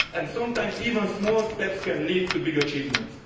Sometimes even small steps can lead to big achievements.